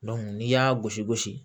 n'i y'a gosi gosi